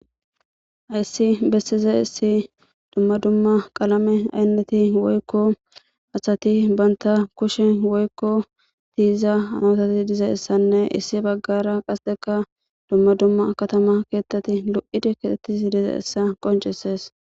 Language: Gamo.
Hayssi bessizayssi dumma dumma qalame aynatewoykko asata bantta kushshen woykko tiyiza masati dizayssanne issi baggara qasseka dumma dumma katama keeththati lo7idi keexetidi dizayssa qonccisees.